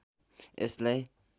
यसलाई